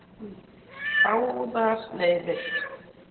Báðar leiðir.